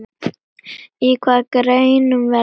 Í hvaða greinum verður keppt?